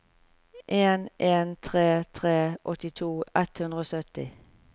en en tre tre åttito ett hundre og sytti